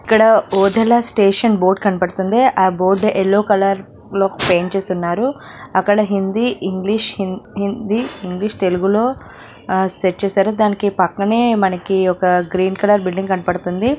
ఇక్కడ Odela station board కనబడుతుంది ఆ బోర్డు ఎల్లో కలర్ లో పేయింట్ చేసి ఉన్నారు అక్కడ హిందీ ఇంగ్లీష్ హి--హిందీ ఇంగ్లీష్ తెలుగులో సెట్ చేసారుదానికి పక్కనే మనకి ఒక గ్రీన్ కలర్ .